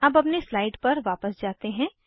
अब अगली स्लाइड पर जाते हैं